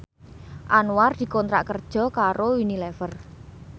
Anwar dikontrak kerja karo Unilever